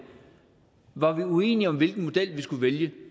var vi uenige om hvilken model vi skulle vælge